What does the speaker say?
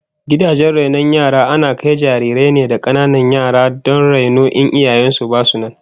Gidajen rainon yara ana kai jarirai ne da kananan yara don raino in iyayen su basu nan